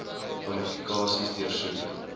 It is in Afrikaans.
kwalifikasies deursoek